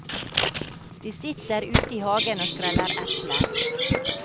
De sitter ute i hagen og skreller epler.